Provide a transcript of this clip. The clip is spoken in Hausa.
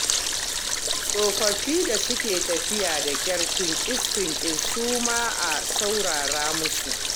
Tsofaffin da suke tafiya da ƙyar, tinƙis-tinƙis, su ma a saurara musu.